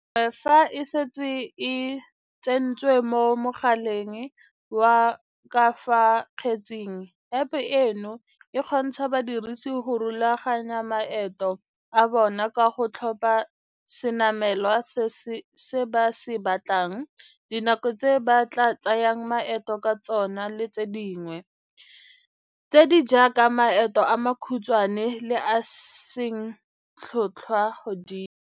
Gangwe fa e setse e tsentswe mo mogaleng wa ka fa kgetsaneng, App eno e kgontsha badirisi go rulaganya maeto a bona ka go tlhopha senamelwa se ba se batlang, dinako tse ba tla tsayang maeto ka tsone le tse dingwe, tse di jaaka maeto a makhutshwane le a a seng tlhotlhwa godimo.